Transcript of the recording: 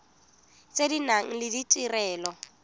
tse di nang le ditirelo